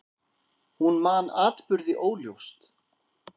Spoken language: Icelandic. Hún man atburði óljóst.